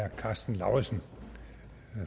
herre karsten lauritzen